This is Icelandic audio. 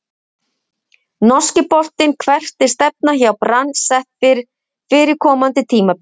Norski boltinn Hvert er stefnan hjá Brann sett fyrir komandi tímabil?